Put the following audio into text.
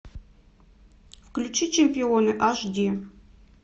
включи чемпионы аш ди